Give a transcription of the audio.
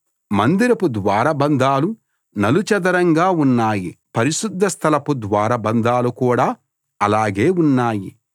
మందిరపు ద్వారబంధాలు నలు చదరంగా ఉన్నాయి పరిశుద్ధస్థలపు ద్వారబంధాలు కూడా అలాగే ఉన్నాయి